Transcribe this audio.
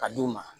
Ka d'u ma